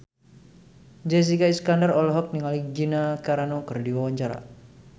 Jessica Iskandar olohok ningali Gina Carano keur diwawancara